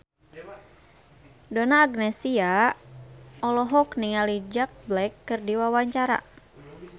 Donna Agnesia olohok ningali Jack Black keur diwawancara